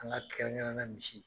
An ka kɛrɛnkɛrɛnna misi.